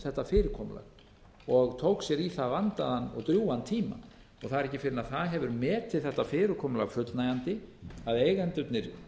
þetta fyrirkomulag og tók sér í það vandaðan og drjúgan tíma það er ekki fyrr en það hefur metið þetta fyrirkomulag fullnægjandi að eigendurnir